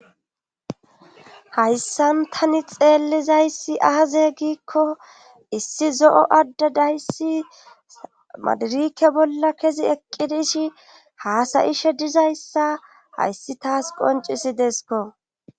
Hayssan tani xeellizayssi aaze giikko issi zo'o adda dayssi madirike bolla kezi eqqi dishi haasayishe dizayssa hayssi taas qoncisi deeskko.